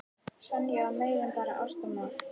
Sonja var meira en bara ástarmál.